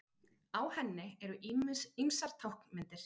Á henni eru ýmsar táknmyndir.